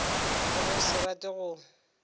le go se rate go